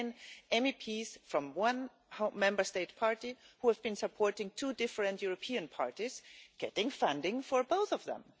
There have been MEPs from one Member State party who have been supporting two different European parties, getting funding for both of them.